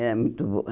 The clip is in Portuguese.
Era muito boa.